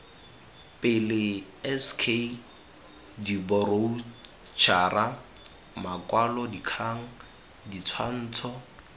pele sk diboroutšhara makwalodikgang ditshwantsho